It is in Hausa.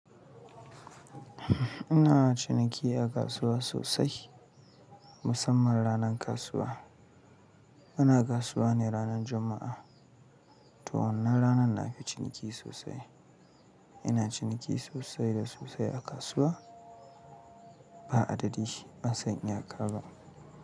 Ina ciniki a kasuwa sosai, musamman ranar kasuwa. Muna kasuwa ne ranar Juma'a, to wannan ranar na fi ciniki sosai. Ina ciniki sosai da sosai a kasuwa, ba adadin shi ban san iyaka ba.